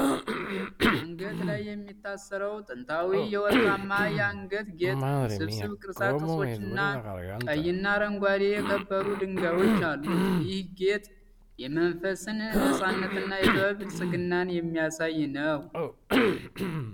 አንገት ላይ የሚታሰረው ጥንታዊ ወርቃማ የአንገት ጌጥ፣ ውስብስብ ቅርጻ ቅርጾችና ቀይና አረንጓዴ የከበሩ ድንጋዮች አሉት። ይህ ጌጥ የመንፈስን ነፃነትና የጥበብ ብልጽግናን የሚያሳይ ነው።